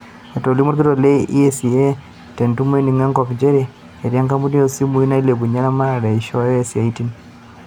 Etolimuo olkitok le ECA te ntumo eningo enkop nchere etii ekampuni oo simui nailepunye eramatare eishooyo isiatin.